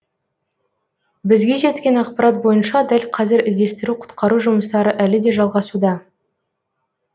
бізге жеткен ақпарат бойынша дәл қазір іздестіру құтқару жұмыстары әлі де жалғасуда